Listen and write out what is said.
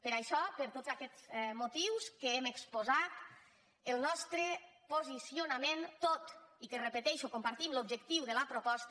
per això per tots aquests motius que hem exposat el nostre posicionament tot i que ho repeteixo compartim l’objectiu de la proposta